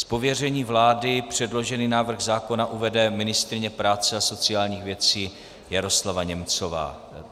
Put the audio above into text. Z pověření vlády předložený návrh zákona uvede ministryně práce a sociálních věcí Jaroslava Němcová.